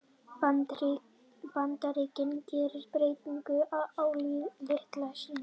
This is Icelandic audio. Bandaríkin gera breytingu á liði sínu